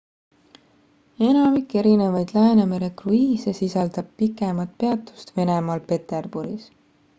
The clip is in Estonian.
enamik erinevaid läänemere kruiise sisaldab pikemat peatust venemaal peterburis